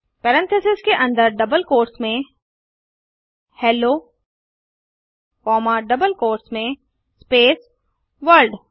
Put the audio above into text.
parentheses के अंदर double quotes में हेलो कॉमा डबल कोट्स में स्पेस वर्ल्ड